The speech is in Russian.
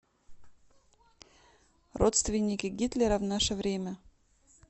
родственники гитлера в наше время